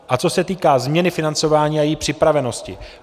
A co se týká změny financování a její připravenosti.